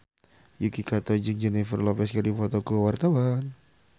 Yuki Kato jeung Jennifer Lopez keur dipoto ku wartawan